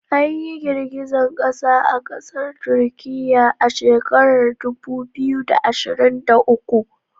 Anyi girgizan kasa a kasar Turkiya ah shekarar dubu biyu da ashirin da uku